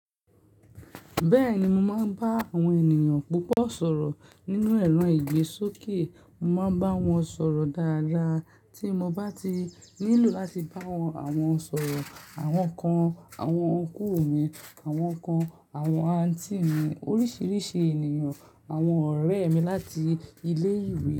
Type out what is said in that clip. Bẹ́ẹ̀ni, mo máa ń bá àwọn ènìyàn púpọ̀ sọ̀rọ̀. Nínú ẹ̀rọ ìgbésókè, mo máa ń bá wọn sọ̀rọ̀ dáadáa. Tí mo bá ti nílò láti bá wọn sọ̀rọ̀, àwọn kan àwọn òǹkùn mi, àwọn kan àwọn àǹtí mi, oríṣiríṣi ènìyàn, àwọn ọ̀rẹ́ mi láti ilé ìwé.